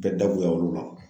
Tɛ da bonya olu la.